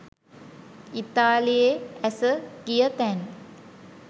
ඉතාලියේ ඇස ගිය තැන්